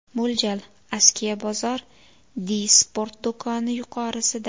Mo‘ljal: Askiya bozor, Di-Sport do‘koni yuqorisida.